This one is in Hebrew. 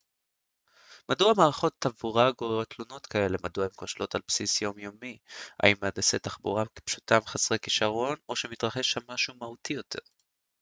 מדוע מערכות תעבורה גוררות תלונות כאלה מדוע הן כושלות על בסיס יום יומי האם מהנדסי תחבורה פשוטם חסרי כישרון או שמתרחש שם משהו מהותי יותר